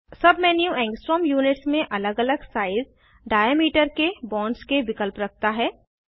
सब menu angstrom units में अलग अलग साइज़ डाइऐमिटर के बॉन्ड्स के विकल्प रखता है